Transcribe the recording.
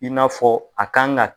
I n'a fɔ a kan ka